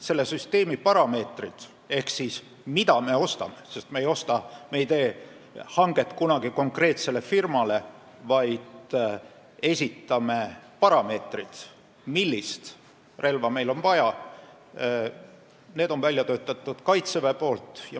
Selle süsteemi parameetrid – me ei tee kunagi hanget konkreetsele firmale, vaid esitame parameetrid, millist relva meil on vaja – on välja töötanud Kaitsevägi.